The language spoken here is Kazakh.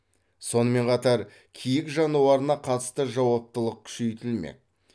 сонымен қатар киік жануарына қатысты жауаптылық күшейтілмек